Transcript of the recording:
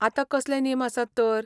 आतां कसले नेम आसात तर?